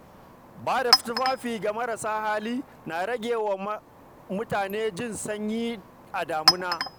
Ba da tufafi ga marasa hali na rage wa mutane jin sanyi a damina.